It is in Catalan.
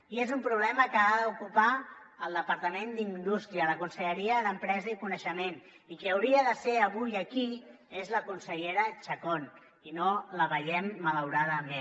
i és un problema que ha d’ocupar el departament d’indústria la conselleria d’empresa i coneixement i qui hauria de ser avui aquí és la consellera chacón i no la veiem malauradament